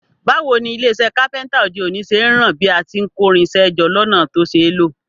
Báwoni ilé isẹ́ carpenter òde òní ṣe n ran bí a ti n kórinsẹ́ jọ lọ́nà to ṣeé lò